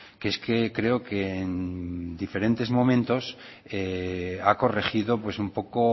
que es que creo que en diferentes momentos ha corregido un poco